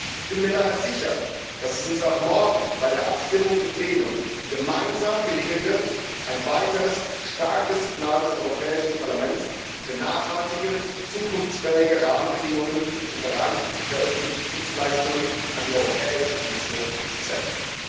Ich bin mir daher sicher, dass es uns auch morgen bei der Abstimmung im Plenum gemeinsam gelingen wird, ein weiteres starkes Signal des Europäischen Parlaments für nachhaltige und zukunftsfähige Rahmenbedingungen im Bereich der öffentlichen Dienstleistungen an die Europäische Kommission zu senden.